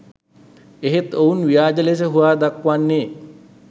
එහෙත් ඔවුන් ව්‍යාජ ලෙස හුවා දක්වන්නේ